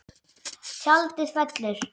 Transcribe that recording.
Tjaldið fellur.